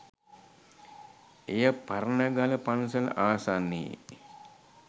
එය පරණගල පන්සල ආසන්නයේ